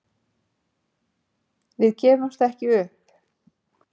Við gefumst ekki upp